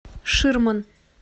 ширман